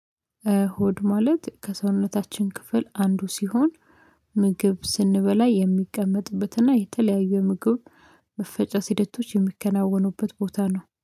ሆድ ማለት ከሰውነታችን ክፍል አንዱ ሲሆን ምግብ ስንበላ የሚቀመጥበትና የተለያየ ምግብ መፈጨት ሂደቶች የሚከናወኑበት ቦታ ነው